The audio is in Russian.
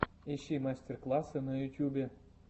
ищи мастер классы на ютубе